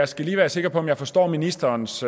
skal lige være sikker på om jeg forstår ministerens